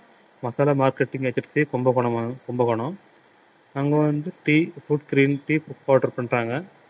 masala marketing agency Kumbakonam ம~ கும்பகோணம் அங்க வந்து tea green tea book order பண்றாங்க